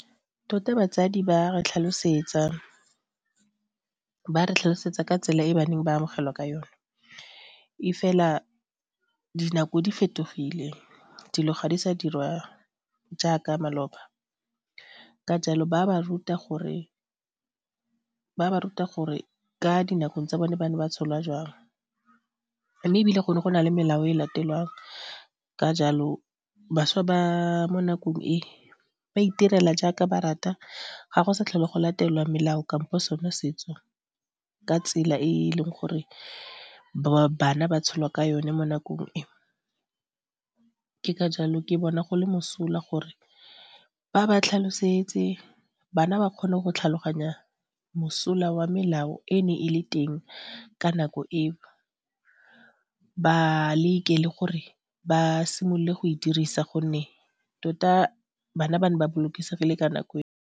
Tota batsadi ba re tlhalosetsa ka tsela e baneng ba amogelwa ka yone e fela dinako di fetogile dilo ga di sa dirwa jaaka maloba ka jalo ba ba ruta gore ka dinakong tsa bone ba ne ba tsholwa jwang mme ebile go ne go na le melao e latelwang ka jalo bašwa ba mo nakong e, ba itirela jaaka ba rata ga go sa tlhole go latelwa melao kampo sone setso ka tsela e e leng gore bana ba tsholwa ka yone mo nakong. Ke ka jalo ke bona go le mosola gore ba ba tlhalosetse, bana ba kgone go tlhaloganya mosola wa melao e ne e le teng ka nako e, ba leke le gore ba simolole go e dirisa gonne tota bana ba ne ba bolokesegile ka nako eo.